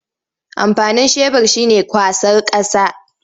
Amfanin shebur shi ne kwasar ƙasa.